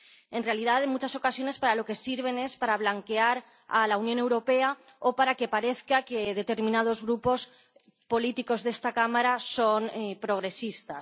En realidad, en muchas ocasiones, para lo que sirven es para blanquear a la Unión Europea o para que parezca que determinados grupos políticos de esta Cámara son progresistas.